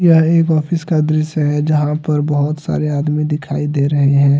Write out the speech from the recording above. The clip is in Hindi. यह एक ऑफिस का दृश्य है जहां पर बहुत सारे आदमी दिखाई दे रहे हैं।